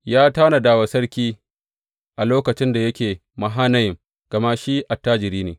Ya tanada wa sarki a lokaci da yake Mahanayim, gama shi attajiri ne.